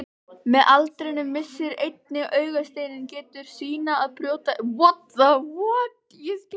Með aldrinum missir einnig augasteinninn getu sína að brjóta ljósgeislana.